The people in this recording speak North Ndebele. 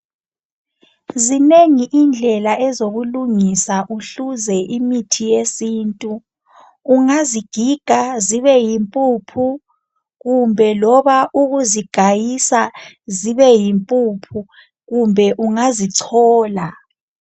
Zinengi indlela ezokulungisa uhluze imithi yesintu, ungazigiga zibe yimpuphu kumbe loba ukuzigayisa zibe yimpuphu kumbe ungazichola.